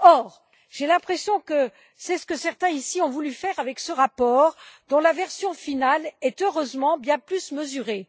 Or j'ai l'impression que c'est ce que certains ici ont voulu faire avec ce rapport, dont la version finale est heureusement bien plus mesurée.